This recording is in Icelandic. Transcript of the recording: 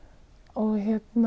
og